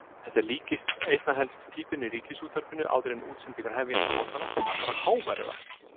Þetta líkist einna helst pípinu í Ríkisútvarpinu áður en útsendingar hefjast á morgnana, bara háværara.